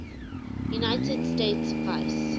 united states vice